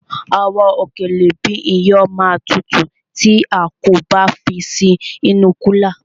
Àwọn òkèlè bíi iyán ma tutù tí a kò bá fi sí inú kúlà.